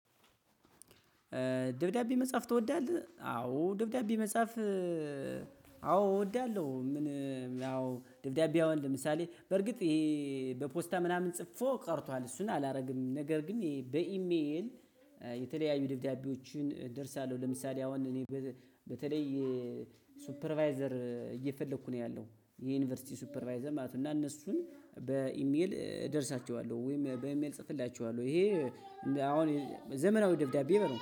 ደብዳቤ መጻፍ ትወዳለህ? አዎ ደብዳቤ መጻፍ አዎ እወዳለሁ። ምን ያው ደብዳቤ አሁን ለምሳሌ በርግጥ ይሄ በፖስታ ምናምን ጽፎ ቀርቷል እሱን አላደርግም። ነገር ግን በኢሜል የተለያዩ ደብዳቤዎችን እደርሳለሁ። ለምሳሌ አሁን እኔ በተለይ ሱፐርቫይዘር እየፈለኩ ነው ያለው የዩኒቨርሲቲ ሱፐርቫይዘር ማለት ነው። እና እነሱን በኢሜል እደርሳቸዋለሁ ወይም በኢሜል እጽፍላቸዋለሁ። ይሄ አሁን ዘመናዊ ደብዳቤ ነው